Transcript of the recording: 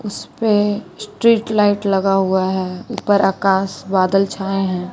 इसपे street light लगा हुआ है ऊपर आकाश बादल छाए है।